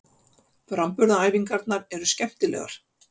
Framburðaræfingarnar eru skemmtilegar.